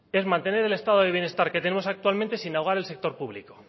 es mantener el estado de bienestar que tenemos actualmente sin ahogar el sector público